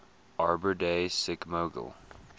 arbor day sikmogil